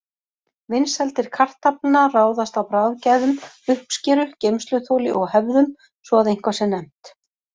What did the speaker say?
Vinsældir kartafla ráðast af bragðgæðum, uppskeru, geymsluþoli og hefðum, svo að eitthvað sé nefnt.